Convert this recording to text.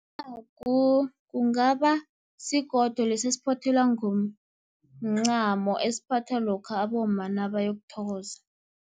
Incangu kungaba sigodo lesa esiphothelwa ngomncamo, esiphathwa lokha abomma naboyokuthokoza.